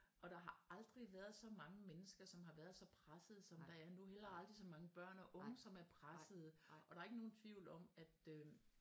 Og der har aldrig været så mange mennesker som har været så pressede som der er nu heller aldrig så mange børn og unge som er pressede og der er ikke nogen tvivl om at øh